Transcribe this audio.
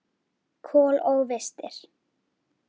Kol og vistir.